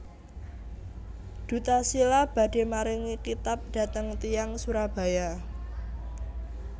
Duta Shila badhe maringi kitab dhateng tiyang Surabaya